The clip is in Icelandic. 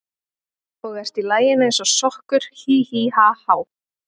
Og ert í laginu eins og sokkur, hí, hí, ha, há.